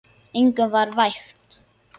Engum var vægt.